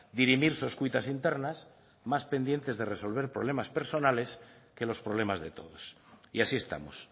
dirimir sus cuitas internas más pendientes de resolver problemas personales que los problemas de todos y así estamos